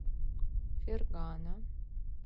фергана